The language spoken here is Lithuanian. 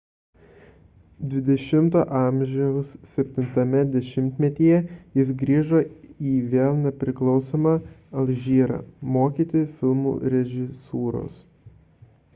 xx a 7-ajame dešimtmetyje jis grįžo į vėl nepriklausomą alžyrą mokyti filmų režisūros